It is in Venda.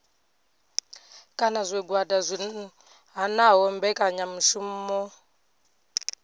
kana zwigwada zwi hanaho mbekanyamishumo